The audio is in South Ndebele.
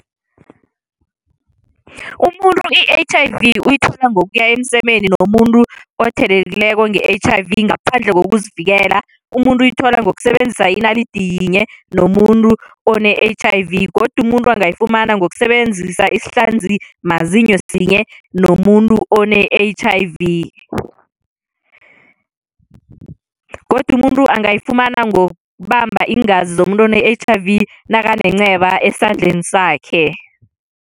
Umuntu i-H_I_V uyithola ngokuya emsemeni nomuntu othelekileko nge-H_I_V ngaphandle kokuzivikela. Umuntu uyithola ngokusebenzisa inalidi iyinye nomuntu one-H_I_V. Godu umuntu angayifumana ngokusebenzisa isihlanzimazinyo sinye nomuntu one-H_I_V. Godu umuntu angayifumana ngokubamba iingazi zomuntu one-H_I_V nakanenceba esandleni sakhe.